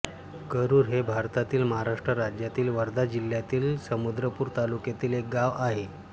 करूर हे भारतातील महाराष्ट्र राज्यातील वर्धा जिल्ह्यातील समुद्रपूर तालुक्यातील एक गाव आहे